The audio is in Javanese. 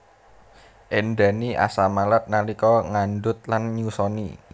Éndhani asam malat nalika ngandhut lan nyusoni